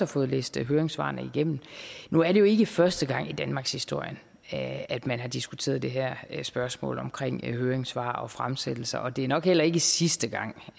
fået læst høringssvarene igennem nu er det jo ikke første gang i danmarkshistorien at at man har diskuteret det her spørgsmål omkring høringssvar og fremsættelser og det er nok heller ikke sidste gang